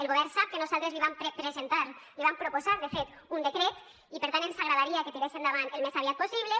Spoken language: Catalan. el govern sap que nosaltres li vam presentar li vam proposar de fet un decret i per tant ens agradaria que tirés endavant el més aviat possible